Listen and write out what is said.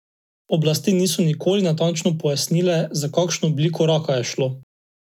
Oblasti niso nikoli natančno pojasnile, za kakšno obliko raka je šlo.